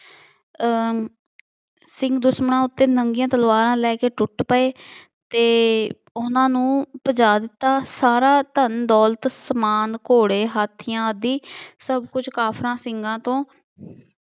ਅਹ ਸਿੰਘ ਦੁਸ਼ਮਣਾਂ ਉੱਤੇ ਨੰਗੀਆਂ ਤਲਵਾਰਾਂ ਲੈ ਕੇ ਟੁੱਟ ਪਏ ਅਤੇ ਉਹਨਾ ਨੂੰ ਭਜਾ ਦਿੱਤਾ। ਸਾਰਾ ਧੰਨ ਦੌਲਤ ਸਮਾਨ ਘੋੜੇ ਹਾਥੀਆਂ ਆਦਿ ਕਾਫਰਾਂ ਸਿੰਘਾਂ ਤੋਂ